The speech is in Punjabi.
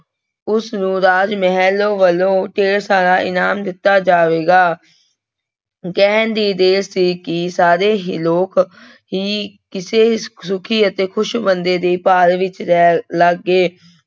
ਉਸਨੂੰ ਰਾਜ ਮਹਿਲ ਵੱਲੋਂ ਢੇਡ ਸਾਰਾ ਇਨਾਮ ਦਿੱਤਾ ਜਾਵੇਗਾ ਕਹਿਣ ਦੀ ਦੇਰ ਸੀ ਕਿ ਸਾਰੇ ਹੀ ਲੋਕ ਹੀ ਕਿਸੇ ਸੁੱਖੀ ਅਤੇ ਖ਼ੁਸ਼ ਬੰਦੇ ਦੀ ਭਾਲ ਵਿੱਚ ਲੈ ਲੱਗ ਗਏ।